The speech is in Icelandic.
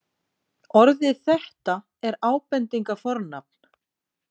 Orðið þetta er ábendingarfornafn.